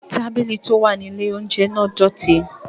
Tábìlì tí ó wà ní ilè óúnjẹ náà dọ̀tí